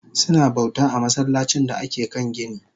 Suna bauta a masallacin da ake kan gini